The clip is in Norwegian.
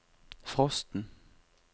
frosten